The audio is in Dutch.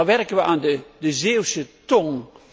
Daar werken we aan de Zeeuwse tong.